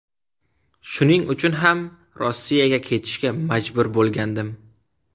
Shuning uchun ham Rossiyaga ketishga majbur bo‘lgandim.